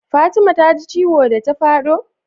Fatima ta ji ciwo da ta fado?